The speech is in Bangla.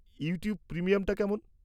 ইউটিউব প্রিমিয়ামটা কেমন?